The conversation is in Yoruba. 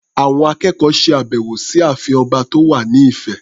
Àwọn akẹ́kọ̀ọ́ ṣe àbẹ̀wọ̀ sí ààfin ọba tó wà ní Ifẹ̀.